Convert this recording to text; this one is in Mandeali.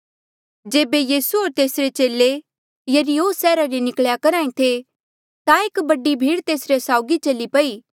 जेबे यीसू होर तेसरे चेले यरीहो सैहरा ले निकल्या करहा ऐें थे ता एक बडी भीड़ तेसरे साउगी चली पई